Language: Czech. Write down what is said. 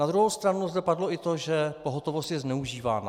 Na druhou stranu zde padlo i to, že pohotovost je zneužívána.